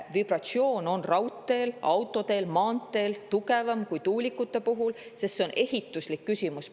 Vibratsioon on raudteel, autoteel ja maanteel tugevam kui tuulikute puhul, sest see on ehituslik küsimus.